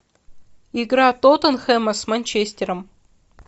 игра тоттенхэма с манчестером